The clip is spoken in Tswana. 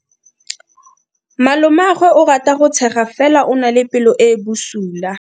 Malomagwe o rata go tshega fela o na le pelo e e bosula.